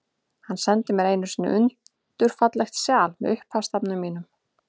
Hann sendi mér einu sinni undur fallegt sjal, með upphafsstafnum mínum.